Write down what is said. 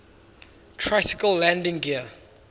tricycle landing gear